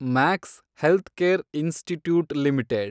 Max healthcare institute limited